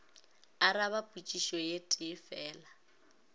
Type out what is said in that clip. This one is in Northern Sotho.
araba potšišo e tee fela